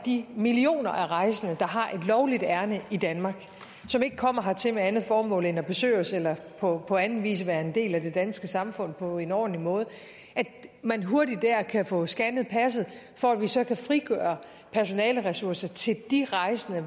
de millioner af rejsende der har et lovligt ærinde i danmark og som ikke kommer hertil med andet formål end at besøge os eller på på anden vis være en del af det danske samfund på en ordentlig måde hurtigt kan få scannet passet for at vi så kan frigøre personaleressourcer til de rejsende